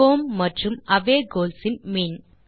home மற்றும் away goals இன் மீன்